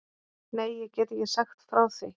Nei, ég get ekki sagt frá því.